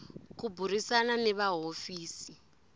ku burisana ni va hofisi